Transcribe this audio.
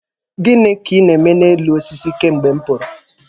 Gịnị ka ị na-eme n'elu osisi kemgbe m pụrụ?